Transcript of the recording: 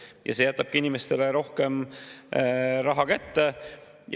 Ja see jätabki inimestele rohkem raha kätte.